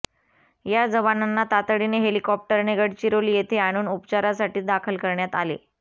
या जवानांना तातडीने हेलिकॉप्टरने गडचिरोली येथे आणून उपचारासाठी दाखल करण्यात आले